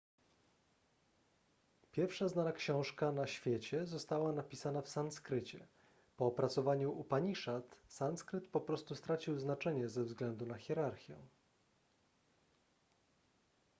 pierwsza znana książka na świecie została napisana w sanskrycie po opracowaniu upaniszad sanskryt po prostu stracił znaczenie ze względu na hierarchię